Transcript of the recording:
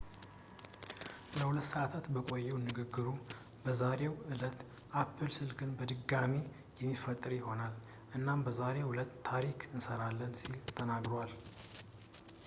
ለ2 ሰዐታት በቆየው ንግግሩ በዛሬው ዕለት apple ስልክን በድጋሚ የሚፈጥር ይሆናል እኛም በዛሬው ዕለት ታሪክ እንሰራለን ሲል ተናግሯል